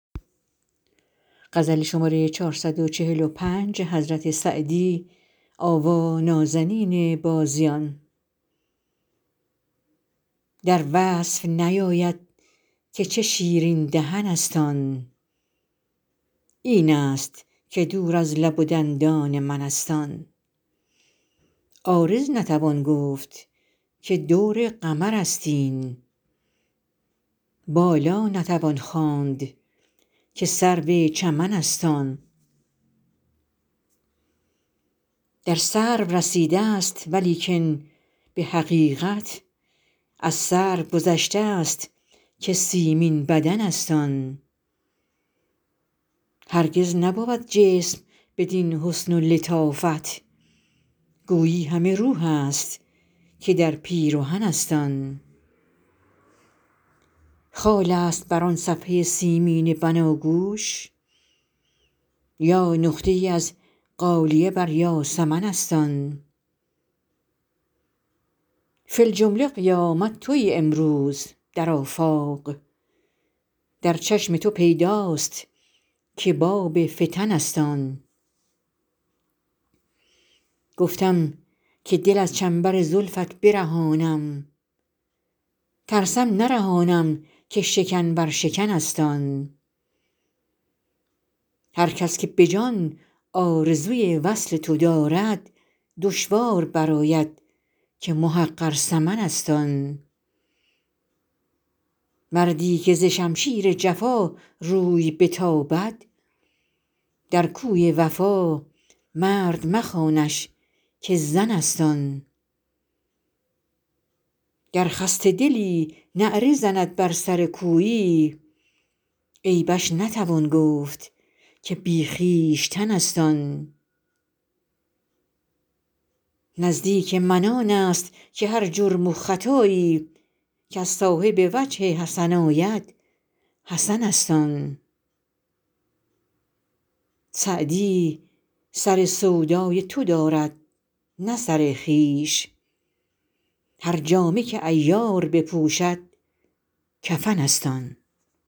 در وصف نیاید که چه شیرین دهن است آن این است که دور از لب و دندان من است آن عارض نتوان گفت که دور قمر است این بالا نتوان خواند که سرو چمن است آن در سرو رسیده ست ولیکن به حقیقت از سرو گذشته ست که سیمین بدن است آن هرگز نبود جسم بدین حسن و لطافت گویی همه روح است که در پیرهن است آن خال است بر آن صفحه سیمین بناگوش یا نقطه ای از غالیه بر یاسمن است آن فی الجمله قیامت تویی امروز در آفاق در چشم تو پیداست که باب فتن است آن گفتم که دل از چنبر زلفت برهانم ترسم نرهانم که شکن بر شکن است آن هر کس که به جان آرزوی وصل تو دارد دشوار برآید که محقر ثمن است آن مردی که ز شمشیر جفا روی بتابد در کوی وفا مرد مخوانش که زن است آن گر خسته دلی نعره زند بر سر کویی عیبش نتوان گفت که بی خویشتن است آن نزدیک من آن است که هر جرم و خطایی کز صاحب وجه حسن آید حسن است آن سعدی سر سودای تو دارد نه سر خویش هر جامه که عیار بپوشد کفن است آن